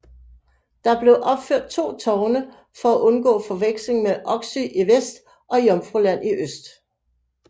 Der blev opført to tårne for at undgå forveksling med Oksøy i vest og Jomfruland i øst